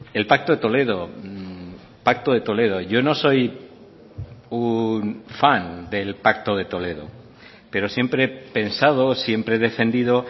el pacto de toledo pacto de toledo yo no soy un fan del pacto de toledo pero siempre he pensado siempre he defendido